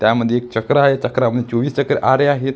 त्यामध्ये एक चक्र आहे चक्रामध्ये चोवीस चक्र आरे आहेत.